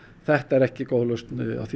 þetta er ekki góð lausn